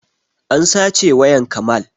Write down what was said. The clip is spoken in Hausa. An sace wayan kamal